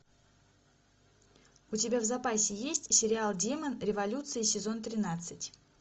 у тебя в запасе есть сериал демон революции сезон тринадцать